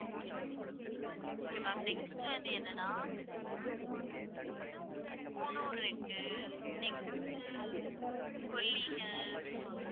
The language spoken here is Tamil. okay ma'am next வந்து என்னனா கூனூர் இருக்கு next கொல்லி ஹில்ஸ்